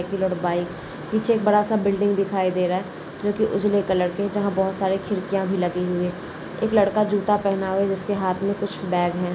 Bike नीचे एक बड़ासा बिल्डिंग दिखाई दे रहा है। जो की उझले कलर के जहा बोहत सारे खिड़किया भी लगी हुई है। एक लड़का जूता पहना हुआ है। जिसके हाथ मे कुछ बैग है।